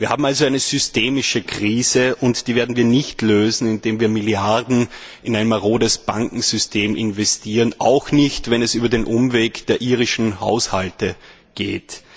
Wir haben also eine systemische Krise, und die werden wir nicht lösen, indem wir Milliarden in ein marodes Bankensystem investieren, auch nicht, wenn es über den Umweg der irischen Haushalte geht.